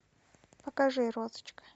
покажи розочка